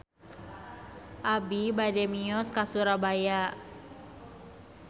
Abi bade mios ka Surabaya